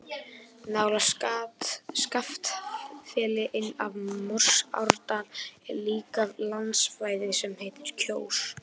Nálægt Skaftafelli, inn af Morsárdal er líka landsvæði sem heitir Kjós.